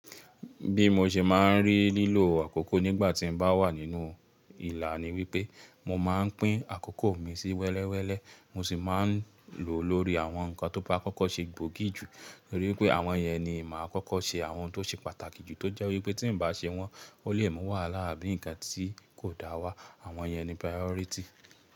Bí mo ṣe máa ń rí lílo àkókò nígbà tí mo bá wà nínú ìlà ni wípé mo máa ń pín àkókò mi sí wẹ́lẹ́wẹ́lẹ́, mo sì máa ń lò ó lórí àwọn nǹkan tó bá kọ́kọ́ ṣe gbòógì jù, torí pé àwọn yẹn ni mà á kọ́kọ́ ṣe àwọn tó ṣe pàtàkì jù tó jẹ́ wípé tí n bá ṣe wọ́n, ó lè mú wàhálà àbí ǹkan tí kò da wá. Àwọn yẹn ni priority.